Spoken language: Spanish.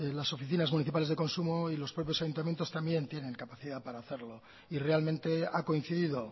las oficinas municipales de consumo y los propios ayuntamientos también tienen capacidad para hacerlo y realmente ha coincidido